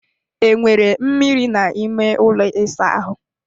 Enwere mmiri n'ime ụlọ ịsa ahụ?